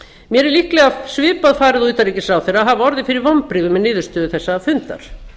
mér er líklega svipað farið og utanríkisráðherra að hafa orðið fyrir vonbrigðum með niðurstöðu þessa fundar